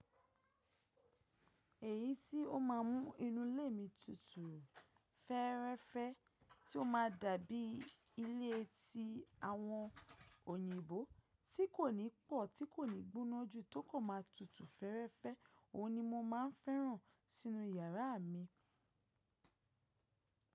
Èyí tí ó máa mú inú ilé mi tutù, fẹ́ẹ́rẹ́fẹ́ tí ó ma dàbí ilé tí àwọn òyìnbó tí kò ní pọ̀ tí kò ní gbóná jù tó kan maa tutù fẹ́ẹ́rẹ́fẹ́, òhun ni mo máa ń fẹ́ràn sínú yàrá mi.